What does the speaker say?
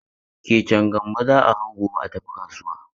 Keken Gambo za a hau gobe a tafi kasuwa.